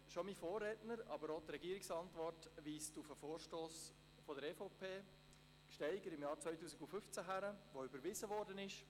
Bereits mein Vorredner, aber auch die Regierungsantwort weisen auf einen Vorstoss der EVP, Gsteiger, im Jahr 2015 hin, den der Grosse Rat überwies.